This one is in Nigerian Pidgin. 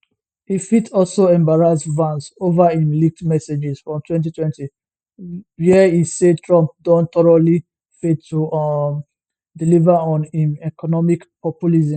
e fit also embarrass vance over im leaked messages from 2020 wia e say trump don thoroughly failed to um deliver on im economic populism